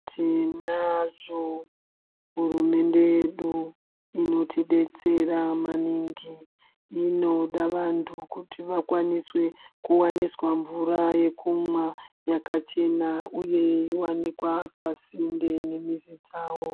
Tinazvo hurumende yedu inotidetsera maningi inoda vanthu kuti vakwaniswe kuwaniswa mvura yekumwa yakachena uye iwanikwe pasinde nemizi dzao.